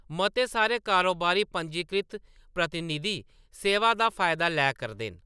मते सारे कारोबारी पंजीकृत प्रतिनिधि सेवा दा फायदा लै करदे न।